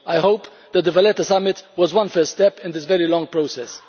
I hope the Valletta summit was a first step in this very long process.